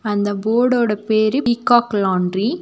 அந்த போடோட பேரு பீகாக் லாண்டரி .